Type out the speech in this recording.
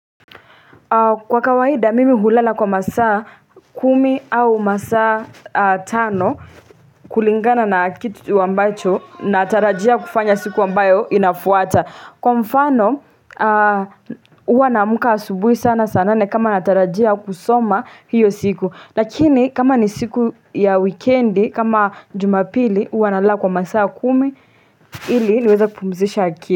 Kwa kawaida mimi hulala kwa masaa kumi au masaa tano kulingana na kitu wambacho naatarajia kufanya siku ambayo inafuata. Kwa mfano huwa na mka asubui sana saa nane kama natarajia kusoma hiyo siku. Lakini kama ni siku ya wikendi kama jumapili uwa nalala kwa masaa kumi ili niweza kupumzisha aki.